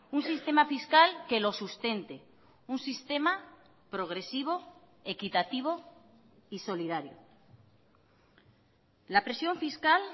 un sistema fiscal que lo sustente un sistema progresivo equitativo y solidario la presión fiscal